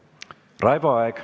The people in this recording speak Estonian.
Raivo Aeg.